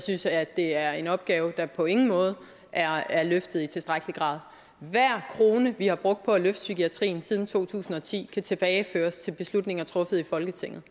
synes at det er en opgave der på ingen måde er løftet i tilstrækkelig grad hver krone vi har brugt på at løfte psykiatrien siden to tusind og ti kan tilbageføres til beslutninger truffet i folketinget